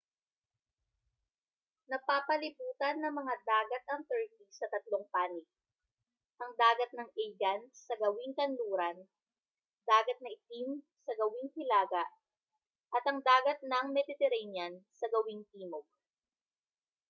napapalibutan ng mga dagat ang turkey sa tatlong panig ang dagat ng aegean sa gawing kanluran dagat na itim sa gawing hilaga at ang dagat ng mediterranean sa gawing timog